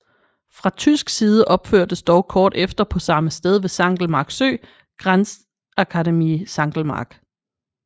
Fra tysk side opførtes dog kort efter på samme sted ved Sankelmark Sø Grenzakademie Sankelmark